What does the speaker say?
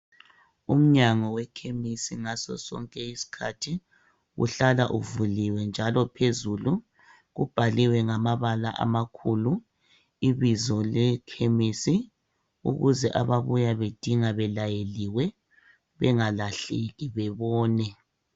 Umnyango wekhemisi ngazo zonke izikhathi uhlala uvuliwe njalo phezulu ubhaliwe ngamabala amakhulu. Ibizo lekhemisi ukuze ababuya belayeliwe bengalahleki bebone.